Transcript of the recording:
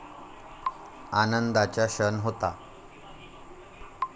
आनंदाचा क्षण होता.